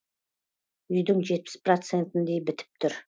үйдің жетпіс процентіндей бітіп тұр